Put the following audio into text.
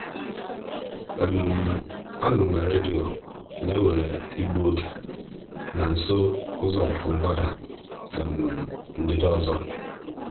a nụrụ m na redio na e nwere igbu oge na nso ụzọ ọpụpụ mgbada ndịda ọzọ. um